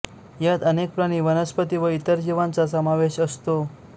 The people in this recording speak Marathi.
यात अनेक प्राणी वनस्पती व इतर जीवांचा समावेश असतो